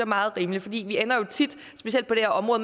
meget rimelige for vi ender jo tit specielt på det her område